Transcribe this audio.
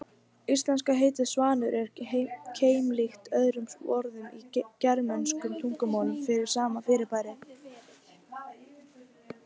Íslenska heitið svanur er keimlíkt öðrum orðum í germönskum tungumálum yfir sama fyrirbæri.